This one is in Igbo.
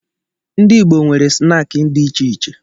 Ndị Igbo nwere snaakị dị iche iche